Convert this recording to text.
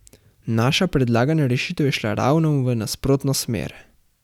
Naša predlagana rešitev je šla ravno v nasprotno smer.